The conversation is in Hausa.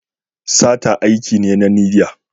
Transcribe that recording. Sata aiki ne na niyya.